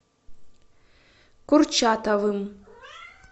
курчатовым